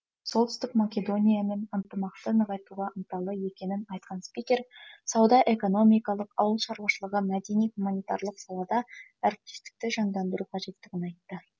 солтүстік македониямен ынтымақты нығайтуға ынталы екенін айтқан спикер сауда экономикалық ауылшаруашылығы мәдени гуманитарлық салада әріптестікті жандандыру қажеттігін айтты